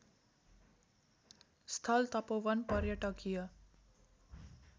स्थल तपोवन पर्यटकीय